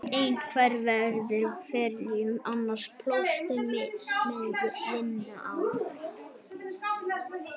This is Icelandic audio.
Einn var yfirmaður á ferjunni, annar pólskur smiður sem vann á